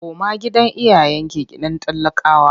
Koma gidan iyayenki gidan talakawa!